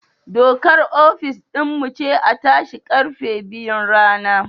Dokar ofis din mu ce a tashi karfe biyun rana